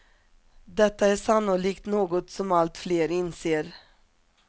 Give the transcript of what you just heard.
Detta är sannolikt något som allt fler inser.